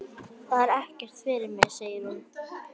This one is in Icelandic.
Það er ekkert fyrir mig, segir hún.